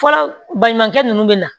Fɔlɔ baɲumankɛ ninnu bɛ na